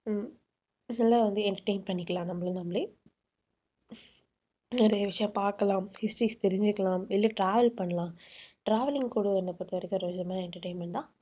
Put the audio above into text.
இதெல்லாம் வந்து entertain பண்ணிக்கலாம் நம்மள நாமளே நிறைய விஷயம் பாக்கலாம் histories தெரிஞ்சுக்கலாம், இல்ல travel பண்ணலாம் travelling கூட என்னை பொறுத்தவரைக்கும் ஒரு விதமான entertainment தான்.